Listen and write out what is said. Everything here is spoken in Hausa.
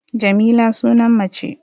Jamila sunan mace